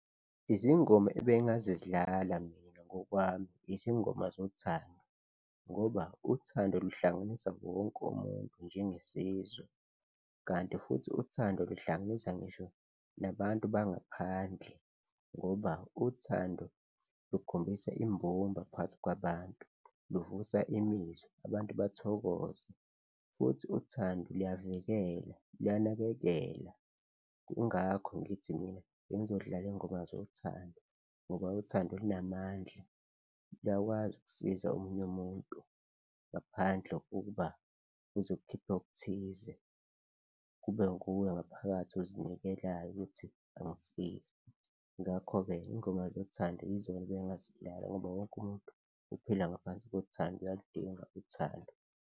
Izingoma ebengingazidlala mina ngokwami izingoma zothando ngoba uthando luhlanganisa wonke umuntu njengesizwe kanti futhi uthando luhlanganisa ngisho nabantu bangaphandle ngoba uthando lukhombisa imbumba phakathi kwabantu, luvusa imizwa abantu bathokoze futhi uthando luyavikela, luyanakekela. Ingakho ngithi mina bengizodlala iy'ngoma zothando ngoba uthando lunamandla, luyakwazi ukusiza omunye umuntu ngaphandle kokuba uze ukukhiphe okuthize, kube nguwe ngaphakathi ozinikelayo ukuthi angisize, ngakho-ke iy'ngoma zothando yizona ebengingazidlala ngoba wonke umuntu uphila ngaphansi kothando, uyalidinga uthando.